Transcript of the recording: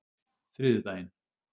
þriðjudaginn